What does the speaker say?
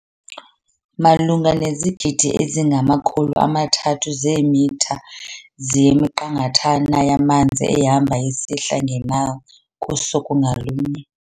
Malunga nezigidi ezingama-300 zeemitha zeyiminqathana yamanzi ehamba esihla nge-Nile kusuku ngalunye.